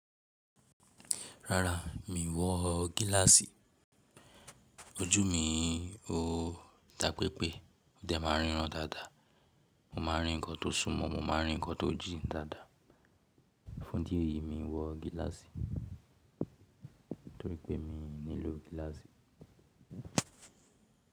Rárá, mi wọ gíláàsì. Ojú mi o dá pé pé ódẹ̀ máa ríran dáadáa. Mo máa rí nǹkan tó súnmọ́, mo máa rí nǹkan tó jìn dáadáa. Fún idi eyi mi n wọ gíláàsì torí pé mi nílò gíláàsì.